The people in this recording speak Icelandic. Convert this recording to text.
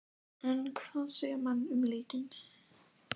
En hvað segja menn um leikinn?